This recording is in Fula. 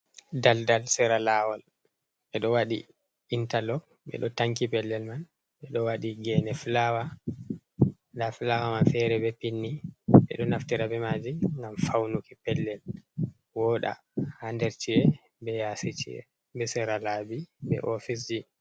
Daldal sera laawol ɓe ɗo waɗi intalog ɓe ɗo tanki pellel man, ɓe ɗo waɗi geene fulawa, nda fulawa man feere be pindi, ɓe ɗo naftira be maji ngam faunuki pellel wooɗa ha nder ci'e be yaasi ci'e, sera laabi be ofisji.